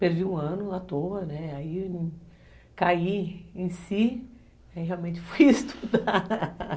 Perdi um ano à toa, né, aí caí em si, aí realmente fui estudar